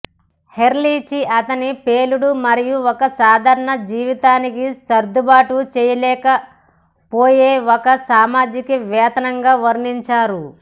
హెర్లిచి అతన్ని పేలుడు మరియు ఒక సాధారణ జీవితానికి సర్దుబాటు చేయలేకపోయే ఒక సామాజికవేత్తగా వర్ణించారు